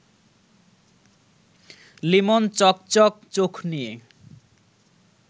লিমন চকচক চোখ নিয়ে